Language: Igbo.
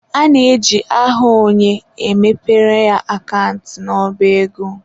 A na-eji aha onye, e mepere ya akant n'ọba ego.